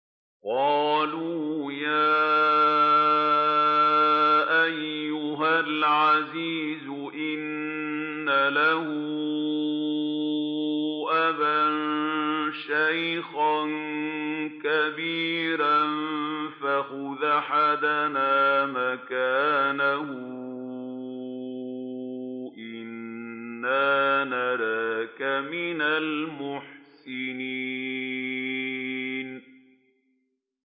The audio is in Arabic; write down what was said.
قَالُوا يَا أَيُّهَا الْعَزِيزُ إِنَّ لَهُ أَبًا شَيْخًا كَبِيرًا فَخُذْ أَحَدَنَا مَكَانَهُ ۖ إِنَّا نَرَاكَ مِنَ الْمُحْسِنِينَ